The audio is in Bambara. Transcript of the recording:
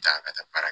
Taa ka taa baara kɛ